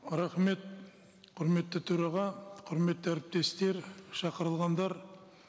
рахмет құрметті төраға құрметті әріптестер шақырылғандар